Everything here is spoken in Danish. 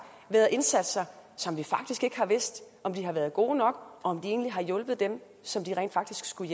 været indsatser som vi faktisk ikke har vidst om har været gode nok og om egentlig har hjulpet dem som de rent faktisk skulle